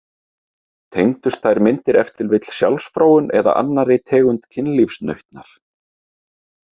Tengdust þær myndir ef til vill sjálfsfróun eða annarri tegund kynlífsnautnar?